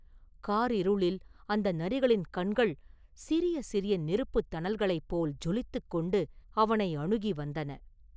காரிருளில் அந்த நரிகளின் கண்கள் சிறிய சிறிய நெருப்புத் தணல்களைப் போல் ஜொலித்துக் கொண்டு அவனை அணுகி வந்தன.